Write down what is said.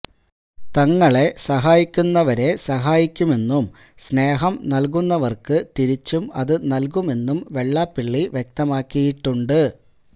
തങ്ങളെ സാഹിക്കുന്നവരെ സഹായിക്കുമെന്നും സ്നേഹം നൽകുന്നവർക്ക് തിരിച്ചും അത് നൽകുമെന്നും വെള്ളാപ്പള്ളി വ്യക്തമാക്കിയിട്ടുണ്ട്